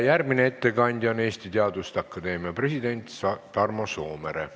Järgmine ettekandja on Eesti Teaduste Akadeemia president Tarmo Soomere.